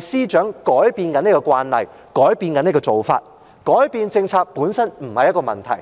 司長正在改變這個慣例，改變這種做法，改變政策本身不是一個問題。